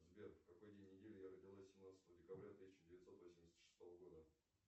сбер в какой день недели я родилась семнадцатого декабря тысяча девятьсот восемьдесят шестого года